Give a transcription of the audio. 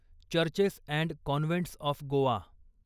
churches and convents of Goa